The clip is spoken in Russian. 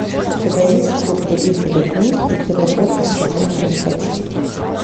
у тебя есть клуб любителей книг и пирогов из картофельных очистков